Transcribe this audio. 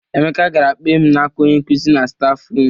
Emeka gara kpee m n'aka onye nkuzi na stafrum.